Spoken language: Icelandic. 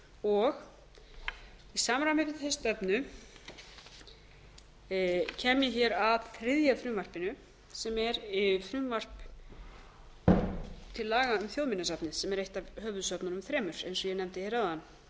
og í samræmi við þá stefnu kem ég hér að þriðja frumvarpinu sem er frumvarp til laga um þjóðminjasafnið sem er eitt af höfuðsöfnunum þremur eins og ég nefndi hér